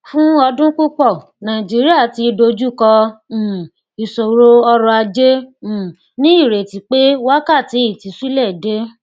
fún ọdún púpọ nàìjíríà ti dójúkọ um ìṣòro ọrọajé um ní ìrètí pé wákàtí ìtúsílẹ dé